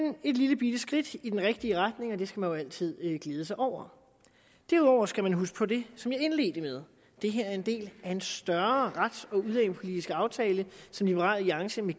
et lillebitte skridt i den rigtige retning og det skal man jo altid glæde sig over derudover skal man huske på det som jeg indledte med det her er en del af en større rets og udlændingepolitisk aftale som liberal alliance med